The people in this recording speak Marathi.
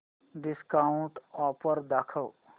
डिस्काऊंट ऑफर दाखव